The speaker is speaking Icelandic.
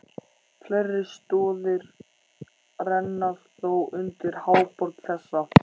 Fleiri stoðir renna þó undir háborg þessa.